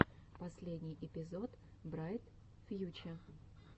последний эпизод брайт фьюче